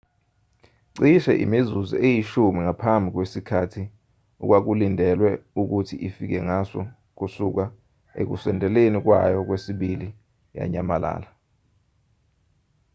cishe imizuzu eyishumi ngaphambi kwesikhathi okwakulindelwe ukuthi ifike ngaso kusuka ekusondeleni kwayo kwesibili yanyamalala